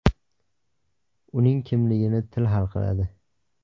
Uning kimligini til hal qiladi.